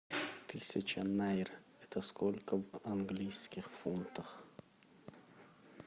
тысяча найр это сколько в английских фунтах